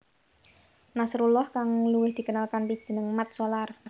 Nasrullah kang luwih dikenal kanthi jeneng Mat Solar